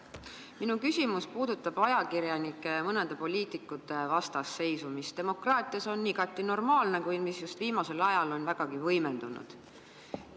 Minu küsimus puudutab ajakirjanike ja mõnede poliitikute vastasseisu, mis demokraatias on igati normaalne, kuid mis just viimasel ajal on vägagi võimendunud.